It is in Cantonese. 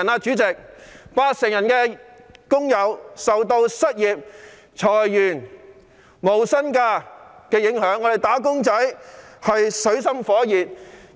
主席，八成受訪者表示受到失業、裁員及無薪假的影響，"打工仔"處於水深火熱之中。